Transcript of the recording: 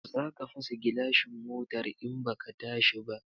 Zaka fasa gilashin motar in baka tashi ba